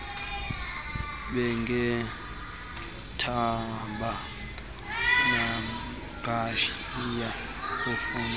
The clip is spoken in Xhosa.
bengenathemba naqhayiya ukufuya